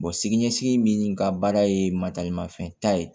sini ɲɛsigi min ka baara ye fɛn ta ye